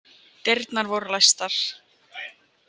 Dyrnar voru læstar.